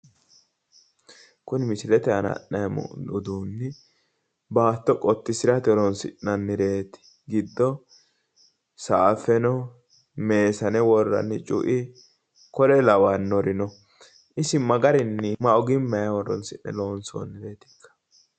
Kuni misilete aana la'neemmo uduunni baatto qottisirate horinsi'nannireeti giddino saafe no worranni cu'i kore lawannori no isi ma ogimmanni horonsi'ne loonsoonnireetikka?